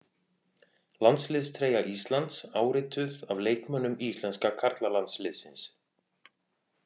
Landsliðstreyja Íslands, árituð af leikmönnum íslenska karlalandsliðsins.